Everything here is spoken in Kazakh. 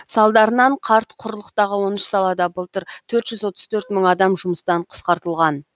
салдарынан қарт құрлықтағы он үш салада былтыр төрт жүз отыз төрт мың адам жұмыстан қысқартылған